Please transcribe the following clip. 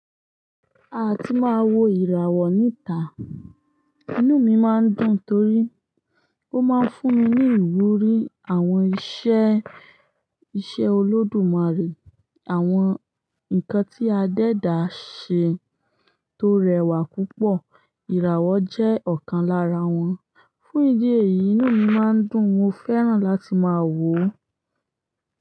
Ati máa wo ìràwọ̀ níta, inú mi ma ń dùn torí ó má ń fún mi ní ìwúrí. Àwọn iṣẹ́, iṣẹ́ olódùmarè, àwọn nkan tí adédá ṣe tó rẹwà púpọ̀, ìràwọ̀ jẹ́ ọ̀kan lára wọn. Fún ìdí èyí, inú mi má ń dùn, mo fẹ́ràn láti máa wò ó.